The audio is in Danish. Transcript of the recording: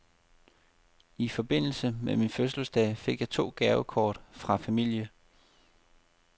I forbindelse med min fødselsdag fik jeg to gavekort fra min familie.